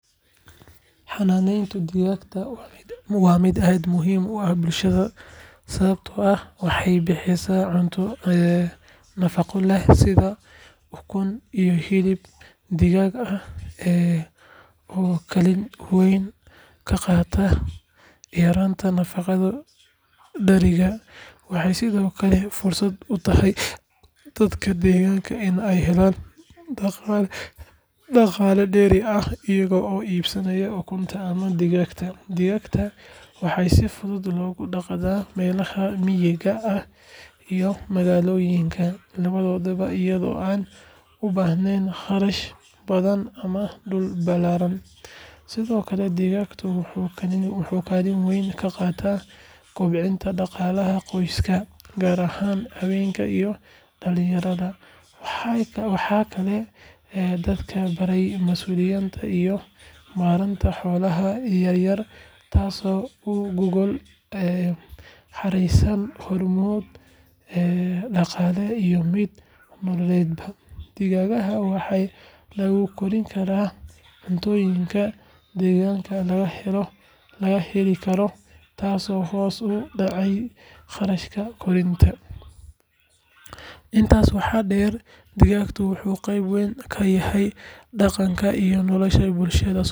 Xanaaneynta digaagga waa mid aad muhiim u ah bulshada sababtoo ah waxay bixisaa cunto nafaqo leh sida ukun iyo hilib digaag ah oo kaalin weyn ka qaata yaraynta nafaqo-darrida. Waxay sidoo kale fursad u tahay dadka deegaanka in ay helaan dhaqaale dheeri ah iyaga oo iibinaya ukunta ama digaagga. Digaagga waxaa si fudud loogu dhaqdaa meelaha miyiga ah iyo magaalooyinka labadaba iyadoo aan u baahnayn kharash badan ama dhul ballaaran. Sidoo kale digaaggu wuxuu kaalin weyn ka qaataa kobcinta dhaqaalaha qoysaska, gaar ahaan haweenka iyo dhalinyarada. Waxay kaloo dadka baraysaa masuuliyadda iyo maaraynta xoolaha yaryar taasoo u gogol xaareysa horumar dhaqaale iyo mid nololeedba. Digaagga waxaa lagu kori karaa cuntooyinka deegaanka laga heli karo taasoo hoos u dhigaysa kharashaadka koritaanka. Intaas waxaa dheer, digaaggu wuxuu qeyb weyn ka yahay dhaqanka iyo nolosha bulshada Soomaaliyeed.